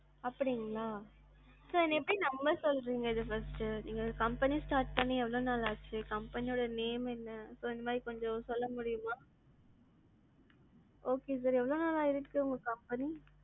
அப்டிங்களா. sir இப்ப எப்படி நம்ப சொல்றிங்க இத first நீங்க company start பண்ணி எவளோ நாள் ஆச்சு, company name என்ன? இந்தமாதிரி கொஞ்சம் சொல்லமுடியுமா? okay sir எவளோ நாளா இருக்கு உங்க company?